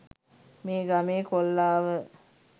මේ ගමේ කොල්ලා ව